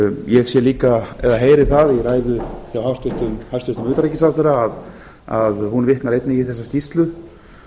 ég heyri það í ræðu hjá hæstvirtum utanríkisráðherra að hún vitnar einnig í þessa skýrslu